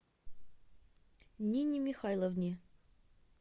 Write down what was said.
нине михайловне